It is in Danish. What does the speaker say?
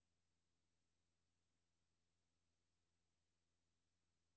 Nogle af dem har levet i disse bjerge i hundrede år eller mere.